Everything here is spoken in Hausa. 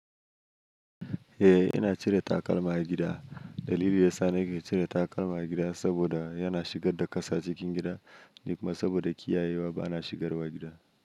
Eh, ina cire takalma a gida. Dalili ya sa nake cire takalma a gida saboda yana shigar da ƙasa cikin gida, ni kuma saboda kiyaye wa ba na shigarwa gida.